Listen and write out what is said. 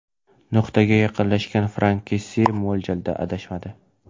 Nuqtaga yaqinlashgan Frank Kessie mo‘ljalda adashmadi.